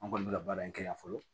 An kɔni bɛ ka baara in kɛ yan fɔlɔ